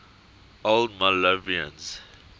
old malvernians